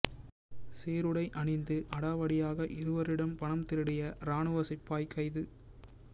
சீருடை அணிந்து அடாவடியாக இருவரிடம் பணம் திருடிய இராணுவ சிப்பாய் கைது